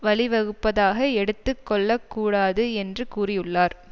வழிவகுப்பதாக எடுத்து கொள்ள கூடாது என்று கூறியுள்ளார்